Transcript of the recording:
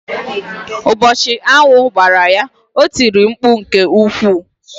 Ụbọchị aṅụ gbara ya, o tìrì mkpu nke ukwuu.